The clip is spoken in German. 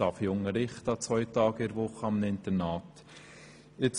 Die UMA darf ich an zwei Tagen pro Woche in einem Internat unterrichten.